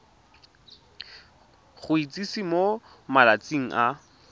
go itsise mo malatsing a